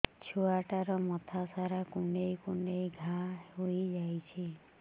ଛୁଆଟାର ମଥା ସାରା କୁଂଡେଇ କୁଂଡେଇ ଘାଆ ହୋଇ ଯାଇଛି